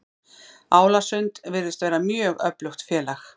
Álasund virðist vera mjög öflugt félag.